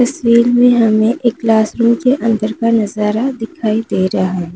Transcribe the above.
तस्वीर में हमे एक क्लासरूम के अंदर का नजारा दिखाई दे रहा है।